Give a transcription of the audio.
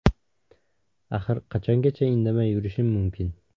Axir, qachongacha indamay yurishim mumkin.